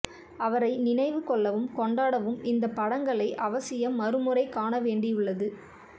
அவரை நினைவு கொள்ளவும் கொண்டாடவும் இந்தப் படங்களை அவசியம் மறுமுறை காண வேணடியுள்ளது